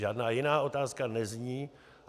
Žádná jiná otázka nezní.